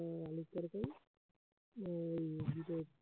এই